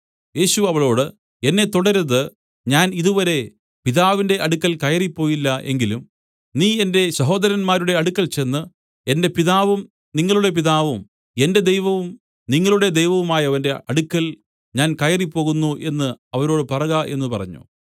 യേശു അവളോട് എന്നെ തൊടരുത് ഞാൻ ഇതുവരെ പിതാവിന്റെ അടുക്കൽ കയറിപ്പോയില്ല എങ്കിലും നീ എന്റെ സഹോദരന്മാരുടെ അടുക്കൽ ചെന്ന് എന്റെ പിതാവും നിങ്ങളുടെ പിതാവും എന്റെ ദൈവവും നിങ്ങളുടെ ദൈവവുമായവന്റെ അടുക്കൽ ഞാൻ കയറിപ്പോകുന്നു എന്നു അവരോട് പറക എന്നു പറഞ്ഞു